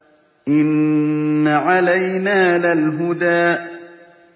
إِنَّ عَلَيْنَا لَلْهُدَىٰ